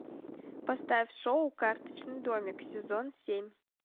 поставь шоу карточный домик сезон семь